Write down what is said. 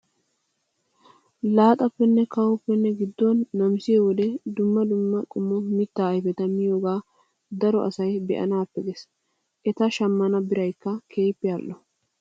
Laaxappenne kawuwaappe gidduwaan namisiyoo wode dumma dumma qommo mittaa ayipeta miyoogaa daro asayi be''anaappe ges. Eta shammana b irayikka keehippe al''o.